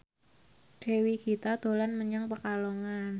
Dewi Gita dolan menyang Pekalongan